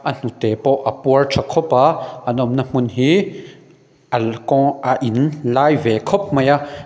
a hnute pawh a puar tha kawp a an awmna hmun hi a in lai ve khawp mai a.